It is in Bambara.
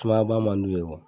Sumayaba man di u ye